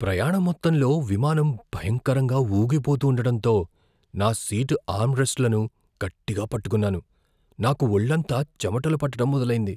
ప్రయాణం మొత్తంలో విమానం భయంకరంగా ఊగిపోతూండడంతో నా సీటు ఆర్మ్రెస్ట్లను గట్టిగా పట్టుకున్నాను, నాకు ఒళ్ళంతా చెమటలు పట్టడం మొదలైంది.